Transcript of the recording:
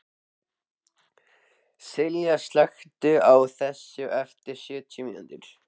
Silla, slökktu á þessu eftir sjötíu mínútur.